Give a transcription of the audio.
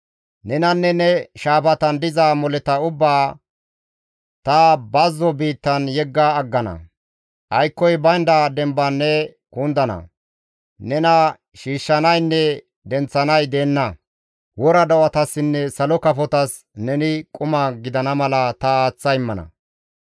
Nenanne ne shaafatan diza moleta ubbaa, ta bazzo biittan yegga aggana; aykkoy baynda demban ne kundana; nena shiishshanaynne denththanay deenna; wora do7atassinne salo kafotas, neni quma gidana mala ta aaththa immana.